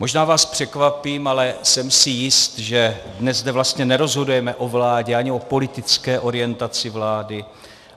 Možná vás překvapím, ale jsem si jist, že dnes zde vlastně nerozhodujeme o vládě ani o politické orientaci vlády.